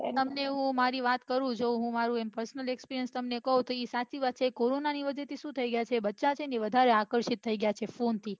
હું મારી વાત કહું હું મારું personal experiance તમને કહું તો એ સાચી વાત છે કોરોનાને વજે થી શું થઈ ગયા છે બચ્ચા બહુ આકર્ષિત થઈ ગયા છે phone થી